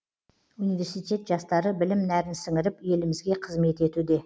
университет жастары білім нәрін сіңіріп елімізге қызмет етуде